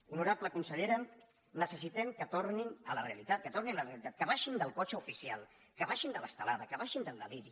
honorable consellera necessitem que tornin a la realitat que tornin a la realitat que baixin del cotxe oficial que baixin de l’estelada que baixin del deliri